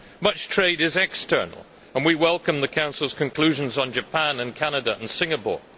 Much trade is external, and we welcome the Council's conclusions on Japan, Canada and Singapore.